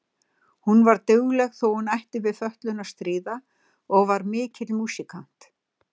Hún var dugleg þó að hún ætti við fötlun að stríða og var mikill músíkant.